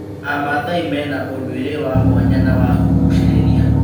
Amathai mena ũndũire wa mwanya na wa kũgucĩrĩria.